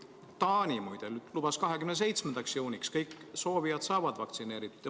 Taani muide lubas, et 27. juuniks saavad kõik soovijad vaktsineeritud.